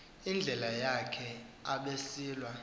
indlela yakhe abesilwa